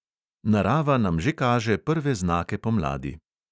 Narava nam že kaže prve znake pomladi.